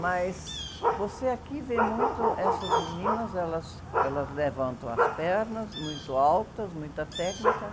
Mas você aqui vê muito essas meninas, elas, elas levantam as pernas muito altas, muita técnica.